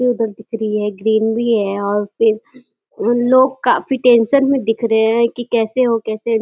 ये उधर दिख रही है। ग्रीन भी है और फिर लोग काफी टेंशन में दिख रहे हैं कि कैसे हो कैसे हो --